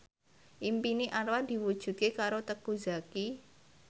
impine Anwar diwujudke karo Teuku Zacky